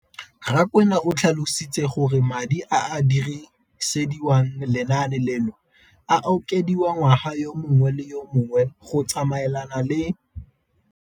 Rakwena o tlhalositse gore madi a a dirisediwang lenaane leno a okediwa ngwaga yo mongwe le yo mongwe go tsamaelana le.